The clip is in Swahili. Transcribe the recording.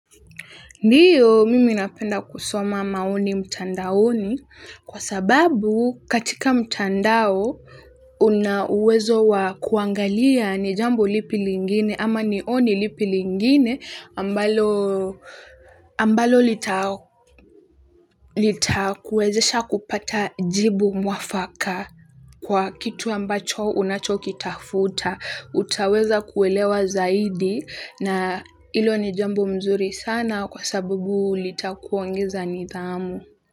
Ndio mimi napenda kusoma maoni mtandaoni kwa sababu katika mtandao una uwezo wa kuangalia ni jambo lipi lingine ama ni oni lipi lingine ambalo lita kuwezesha kupata jibu mwafaka kwa kitu ambacho unacho ki tafuta. Utaweza kuelewa zaidi na hilo ni jambo mzuri sana kwa sababu litakuongeza nidhamu.